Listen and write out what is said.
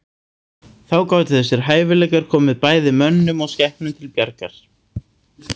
Þá gátu þessir hæfileikar komið bæði mönnum og skepnum til bjargar.